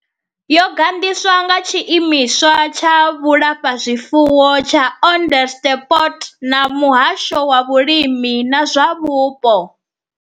Yo gandiswa nga Tshiimiswa tsha Vhulafha zwifuwo tsha Onderstepoort na Muhasho wa Vhulimi na zwa Vhupo.